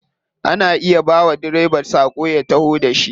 Ana iya bawa direba sako ya taho da shi.